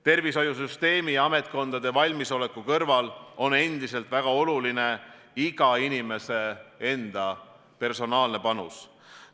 Tervishoiusüsteemi ja ametkondade valmisoleku kõrval on endiselt väga oluline iga inimese enda personaalne panus.